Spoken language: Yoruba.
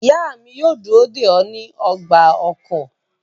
Iya mi yoo duro de ọ ni ọgba-ọkọ